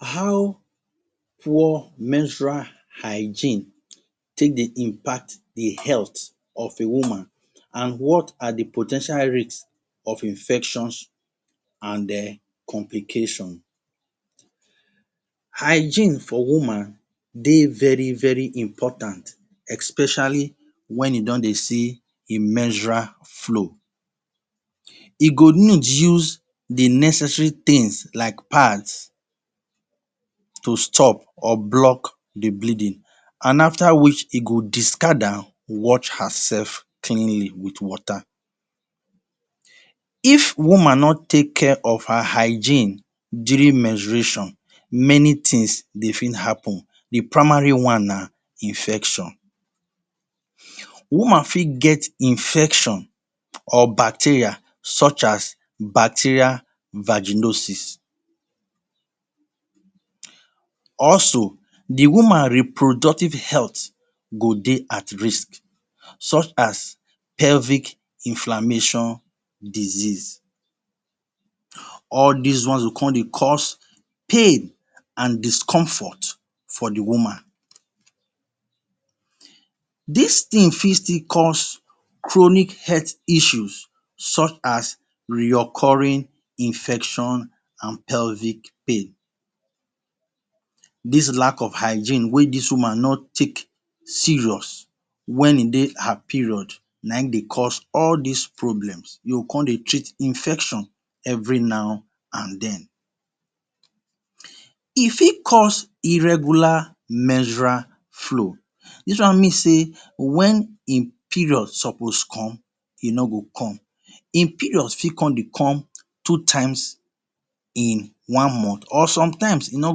How poor menstrual hygiene take dey impact the health of a woman, an what are the po ten tial risk of infections an um complication? Hygiene for woman dey very very important, especially wen e don dey see im menstrual flow. E go need use the necessary tins like pads to stop or block the bleeding, an after which e go discard am, wash herself cleanly with water. If woman no take care of her hygiene during menstruation, many tins dey fit happen. The primary one na infection. Woman fit get infection or bacteria such as bacteria vaginosis. Also, the woman reproductive health go dey at risk such as pelvic inflammation disease. All dis one go con dey cause pain and discomfort for the woman. Dis tin fit still cause chronic health issues such as reoccurring infection and pelvic pain. Dis lack of hygiene wey dis woman no take serious wen ein dey her period na ein dey cause all dis problems. You go con dey treat infection every now and then. E fit cause irregular menstrual flow. Dis one mean sey wen im period suppose come, e no go come. Ein period fit con dey come two times in one month or sometimes, e no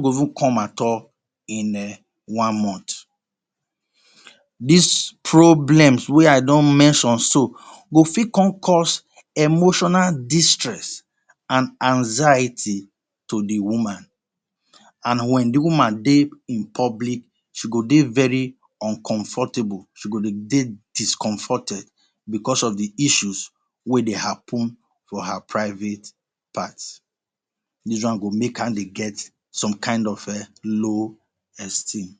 go even come at all in um one month. Dis problems wey I don mention so, go fit con cause emotional distress, and anxiety to the woman. And wen the woman dey in public, she go dey very uncomfortable, she go dey dey discomforted becos of the issues wey dey happen for her private part. Dis one go make am dey get some kain of um low esteem.